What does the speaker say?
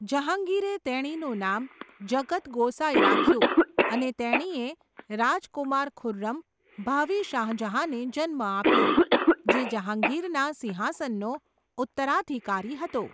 જહાંગીરે તેણીનું નામ જગત ગોસાઈ રાખ્યું અને તેણીએ રાજકુમાર ખુર્રમ, ભાવિ શાહજહાંને જન્મ આપ્યો, જે જહાંગીરના સિંહાસનનો ઉત્તરાધિકારી હતો.